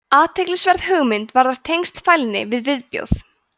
athyglisverð hugmynd varðar tengsl fælni við viðbjóð